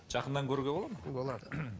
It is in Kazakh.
жақыннан көруге болады ма болады